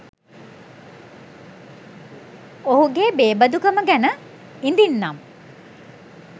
ඔහුගේ බේබදුකම ගැන ඉදින් නම්